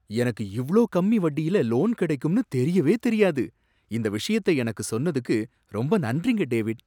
எனக்கு இவ்ளோ கம்மி வட்டியில லோன் கிடைக்கும்னு தெரியவே தெரியாது. இந்த விஷயத்தை எனக்கு சொன்னதுக்கு ரொம்ப நன்றிங்க, டேவிட்.